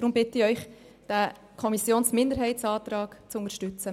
Deshalb bitte ich Sie, den Antrag der Kommissionsminderheit zu unterstützen.